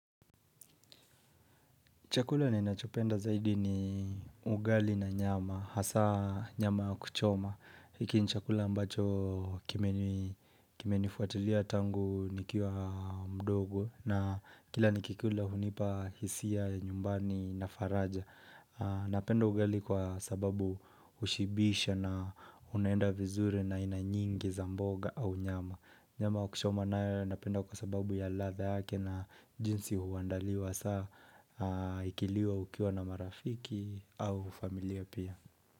Chakula ninachopenda zaidi ni ugali na nyama, hasa nyama ya kuchoma. Hiki ni chakula ambacho kimenifuatilia tangu nikiwa mdogo na kila nikikula hunipa hisia nyumbani na faraja. Napenda ugali kwa sababu hushibisha na unaenda vizuri na aina nyingi za mboga au nyama. Nyama ya kuchoma na napenda kwa sababu ya ladha yake na jinsi huandaliwa. Hasa ikiliwa ukiwa na marafiki au familia pia.